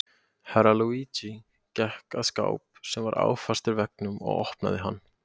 Herra Luigi gekk að skáp sem var áfastur veggnum og opnaði hann.